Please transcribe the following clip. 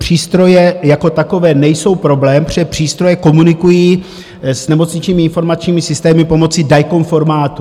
Přístroje jako takové nejsou problém, protože přístroje komunikují s nemocničními informačními systémy pomocí DICOM formátu.